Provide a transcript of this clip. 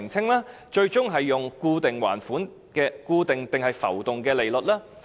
此外，最終將採用固定還是浮動利率？